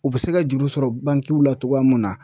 U bɛ se ka juru sɔrɔ bankiw la cogoya mun na.